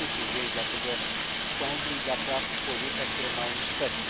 To smutny dzień dla tego sądu i dla praw człowieka, których ma on strzec.